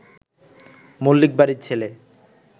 মল্লিক বাড়ির ছেলে